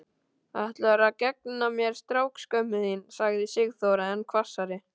Ætlarðu að gegna mér, strákskömmin þín? sagði Sigþóra enn hvassari.